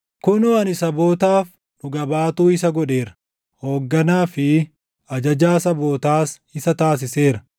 kunoo ani sabootaaf dhuga baatuu isa godheera; hoogganaa fi ajajaa sabootaas isa taasiseera.